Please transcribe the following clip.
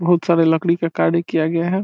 बोहोत सारे लकड़ी का कार्य किया गया है।